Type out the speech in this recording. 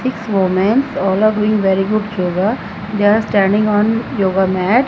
six womens all are doing very good yoga they are standing on yoga mat.